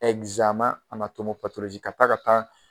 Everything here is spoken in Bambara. ka taa ka taa